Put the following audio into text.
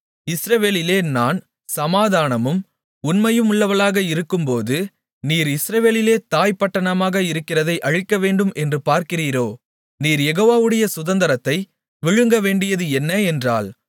இஸ்ரவேலிலே நான் சமாதானமும் உண்மையுமுள்ளவளாக இருக்கும்போது நீர் இஸ்ரவேலிலே தாய் பட்டணமாக இருக்கிறதை அழிக்கவேண்டும் என்று பார்க்கிறீரோ நீர் யெகோவாவுடைய சுதந்திரத்தை விழுங்கவேண்டியது என்ன என்றாள்